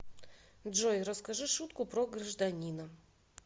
джой расскажи шутку про гражданина